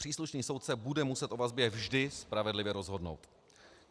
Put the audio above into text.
Příslušný soudce bude muset o vazbě vždy spravedlivě rozhodnout.